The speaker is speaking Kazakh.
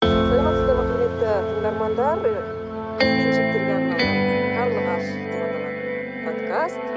саламатсыздар ма құрметті тыңдармандар карлығаш деп аталатын подкаст